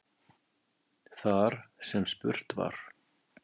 Þar sem spurt var